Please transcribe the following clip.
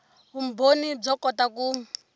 vumbhoni byo kota ku